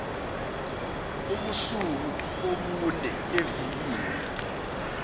ubusuku obune evikini